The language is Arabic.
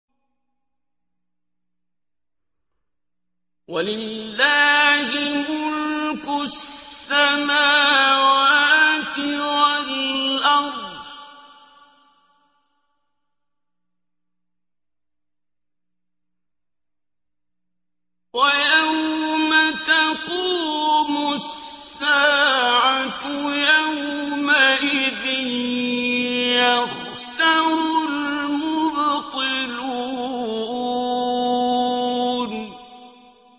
وَلِلَّهِ مُلْكُ السَّمَاوَاتِ وَالْأَرْضِ ۚ وَيَوْمَ تَقُومُ السَّاعَةُ يَوْمَئِذٍ يَخْسَرُ الْمُبْطِلُونَ